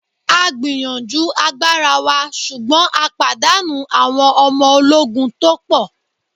A gbìyànjú agbára wa ṣùgbọ́n a pàdánù àwon ọmọ ológun to pò